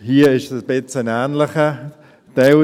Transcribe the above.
Hier gibt es ein Stück weit einen ähnlichen Teil: